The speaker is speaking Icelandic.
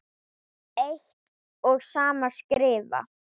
eitt og sama skrifa